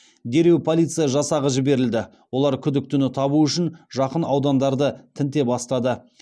дереу полиция жасағы жіберілді олар күдіктіні табу үшін жақын аудандарды тінте бастады